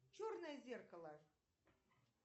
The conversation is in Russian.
черное зеркало